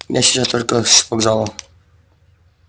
я сейчас только с вокзала